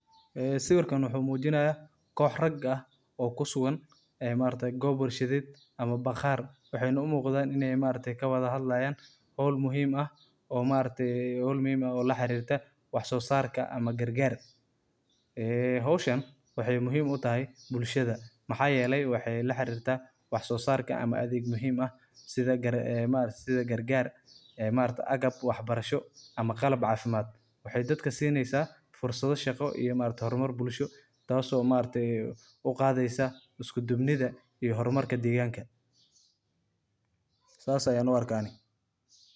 Ee sawirkan waxu mujinaya, koox raga aah oo kusugan ee maargtahay koob bulshadeed oo baqasr waxana u muqdah inay maargtahay kawala hadlahan hool muhim aah maargtahay oo laxarirtah wax sosartah amah karkar ee hooshan waxay muhim u tahay bulshada waxayeelay waxay laxarirtah wax sosartah amah athega muhim setha maargtahay karkar ee maaragtay agaab waxbarasho amh qalab cafimad, waxay dadka siineysah fursado shaqoo amah hormar bulsho taaso maargtahay u Qatheysah iskudubni iyo hormarka deganga sas Aya u arkah ani